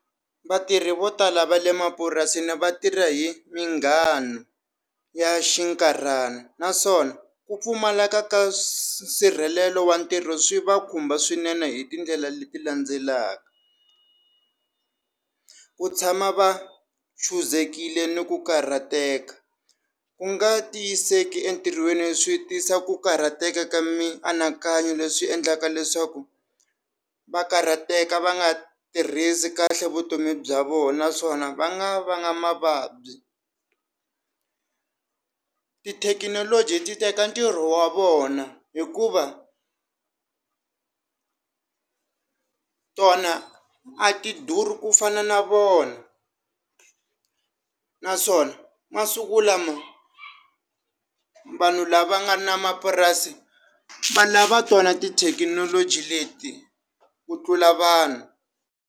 Vatirhi vo tala va le mapurasini vatirha hi minghano ya xinkarhana naswona ku pfumaleka ka swisirhelelo wa ntirho swi va khumba swinene hi tindlela leti landzelaka ku tshama va chuzekile ni ku karhateka ku nga tiyiseka entirhweni swi tisa ku karhateka ka mianakanyo leswi endlaka leswaku va karhateka va nga tirhisi kahle vutomi bya vona naswona va nga va nga mavabyi tithekinoloji ti teka ntirho wa vona hikuva tona a ti duri ku fana na vona naswona masiku lama vanhu lava nga na mapurasi valava tona ti thekinoloji leti ku tlula vanhu.